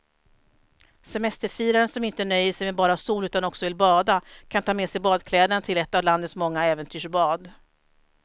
Semesterfiraren som inte nöjer sig med bara sol utan också vill bada kan ta med sig badkläderna till ett av landets många äventyrsbad.